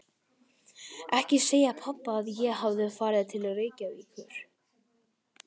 Ekki segja pabba að ég hafi farið til Reykjavíkur.